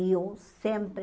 E eu sempre...